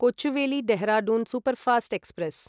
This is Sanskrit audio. Kochuveli Dehradun superfast express